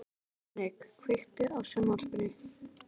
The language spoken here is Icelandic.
Henrik, kveiktu á sjónvarpinu.